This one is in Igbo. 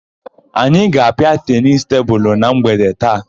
Anyị ga-apịa tenisi tebulu na mgbede taa.